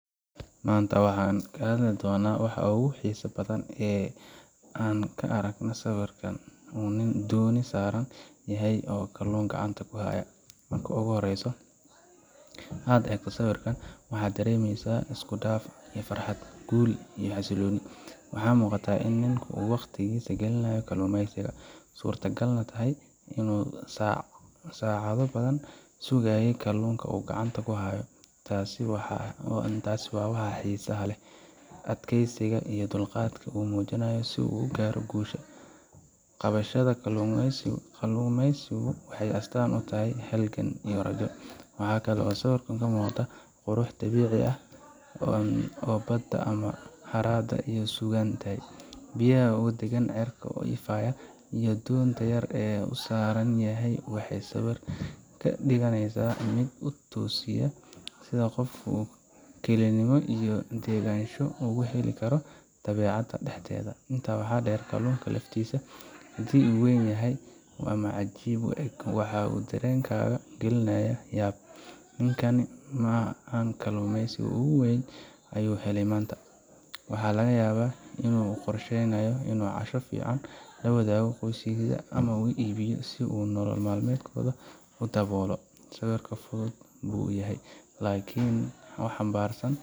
maanta waxaan ka hadli doonaa waxa ugu xiisaha badan ee aan ka arkay sawir uu nin dooni saaran yahay oo kalluun gacanta ku haya. Marka ugu horreysa ee aad eegto sawirka, waxaad dareemaysaa isku dhaf ah farxad, guul, iyo xasillooni. Waxaa muuqata in ninkani uu waqtigiisa geliyay kalluumeysiga suurtagalna tahay inuu saacado badan sugayay kalluunkan uu gacanta ku hayo. Taasi waa waxa xiisaha leh: adkaysiga iyo dulqaadka uu muujiyay si uu u gaaro guushaas. Qabashada kalluumeysigu waxay astaan u tahay halgan iyo rajo. Waxa kale oo sawirka ka muuqda quruxda dabiiciga ah ee badda ama harada uu ku sugan yahay. Biyaha oo deggan, cirka oo ifaya, iyo doonta yar ee uu saaran yahay waxay sawirka ka dhigayaan mid ku tusaya sida qofku kalinimo iyo degenaansho ugu heli karo dabeecadda dhexdeeda. Intaa waxaa dheer, kalluunka laftiisa haddii uu weyn yahay ama cajiib u eg wuxuu dareenkaaga gelinayaa yaab: Ninkan ma kalluumeysigu ugu weynaa ayuu helay maanta Waxaa laga yaabaa in uu qorsheynayo inuu casho fiican la wadaago qoyskiisa, ama uu iibiyo si uu nolol maalmeedkiisa u daboolo. Sawir fudud buu yahay, laakiin wuxuu xambaarsan.